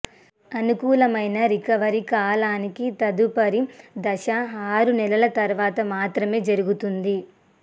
అనుకూలమైన రికవరీ కాలానికి తదుపరి దశ ఆరు నెలల తర్వాత మాత్రమే జరుగుతుంది